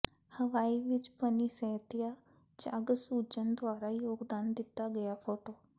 ਹਵਾਈ ਵਿਚ ਪਨੀਸੇਤੀਆ ਝੱਗ ਸੂਜ਼ਨ ਦੁਆਰਾ ਯੋਗਦਾਨ ਦਿੱਤਾ ਗਿਆ ਫੋਟੋ